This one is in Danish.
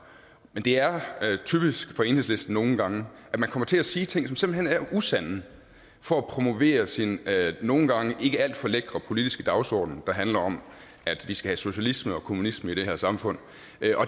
men det er typisk for enhedslisten nogle gange at man kommer til at sige ting som simpelt hen er usande for at promovere sin nogle gange ikke alt for lækre politiske dagsorden der handler om at vi skal have socialisme og kommunisme i det her samfund